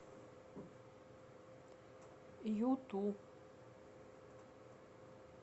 юту